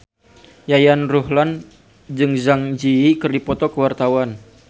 Yayan Ruhlan jeung Zang Zi Yi keur dipoto ku wartawan